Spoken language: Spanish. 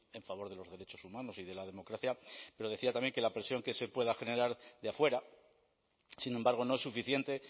en favor de los derechos humanos y de la democracia pero decía también que la presión que se pueda generar de afuera sin embargo no es suficiente